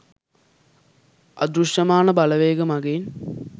අදෘශ්‍යමාන බලවේග මගින්